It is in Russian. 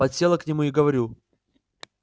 подсела к нему и говорю